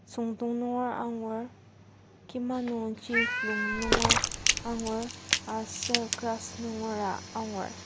süngdong nunger angur kima nungji lung nunger angur aser grass nungera angur.